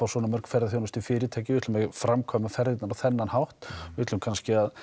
svona mörg ferðaþjónustufyrirtæki við ætlum að framkvæma ferðirnar á þennan hátt við ætlum kannski að